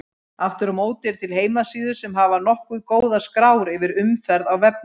Aftur á móti eru til heimasíður sem hafa nokkuð góðar skrár yfir umferð á vefnum.